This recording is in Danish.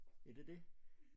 Ja det det